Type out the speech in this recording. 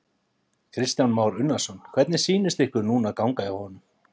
Kristján Már Unnarsson: Hvernig sýnist ykkur núna ganga hjá honum?